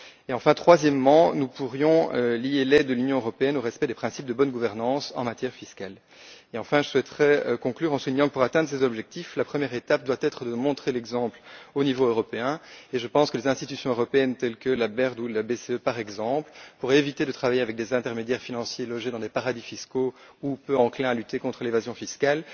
Enfin, troisièmement, nous pourrions lier l'aide de l'Union européenne au respect des principes de bonne gouvernance en matière fiscale. Je souhaiterais conclure en soulignant que, pour atteindre ces objectifs, la première étape doit être de montrer l'exemple au niveau européen. Je pense que les institutions européennes, telles que la BERD ou la BCE, pourraient éviter de travailler avec des intermédiaires financiers logés dans des paradis fiscaux ou peu enclins à lutter contre l'évasion fiscale.